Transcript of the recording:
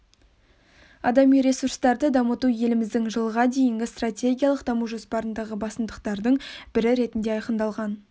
адами ресурстарды дамыту еліміздің жылға дейінгі стратегиялық даму жоспарындағы басымдықтардың бірі ретінде айқындалған